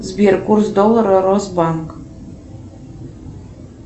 сбер курс доллара росбанк